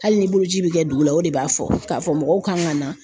Hali ni boloci bɛ kɛ dugu la o de b'a fɔ k'a fɔ mɔgɔw kan ka na.